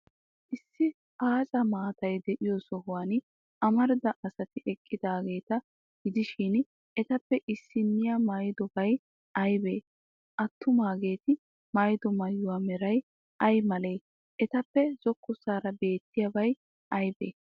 Issi aaca maatay de'iyo sohuwan amarida asati eqqidaageeta gidishin, etappe issnniyaa maayidobay aybee? Attumaageeti maayido maayuwa meray ay malee? Etappe zokkossaara beettiyabay aybee?